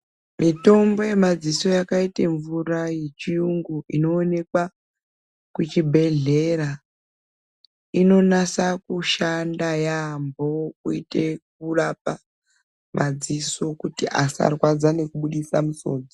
Mitombo yemadziso yakaite mvura yechiyungu inoonekwa kuchibhedhlera inonasa kushanda yaambo kuitira kurapa madziso kuitira kuti asarwadza nekubudisa misodzi.